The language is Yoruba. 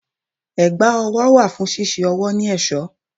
Ẹ̀gbá ọwọ́ wà fún ṣíṣe ọwọ́ ní ẹ̀ṣọ́.